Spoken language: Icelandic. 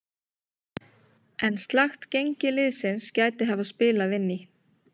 En slakt gengi liðsins gæti hafa spilað inn í.